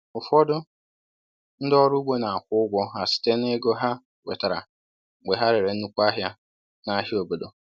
Ụfọdụ ndị ọrụ ugbo na-akwụ ụgwọ ha site na ego ha nwetara mgbe ha rere nnukwu ahịa n’ahịa obodo.